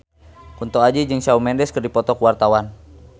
Kunto Aji jeung Shawn Mendes keur dipoto ku wartawan